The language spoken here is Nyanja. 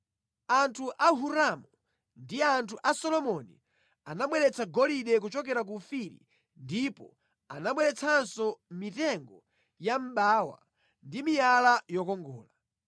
(Anthu a Hiramu ndi anthu a Solomoni anabweretsa golide kuchokera ku Ofiri ndipo anabweretsanso mitengo ya mʼbawa ndi miyala yokongola.